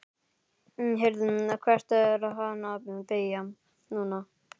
Heyrðu. hvert er hann að beygja núna?